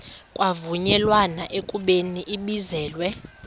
kwavunyelwana ekubeni ibizelwe